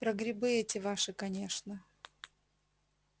про грибы эти ваши конечно